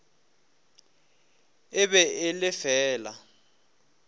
e be e le fela